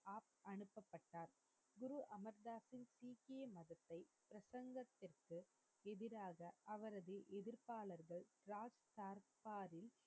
எதிராக அவரது எதிர்பாளர்கள் ராஜ் சர்பாரில்,